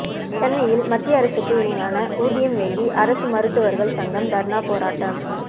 சென்னையில் மத்திய அரசுக்கு இணையான ஊதியம் வேண்டி அரசு மருத்துவர்கள் சங்கம் தர்ணா போராட்டம்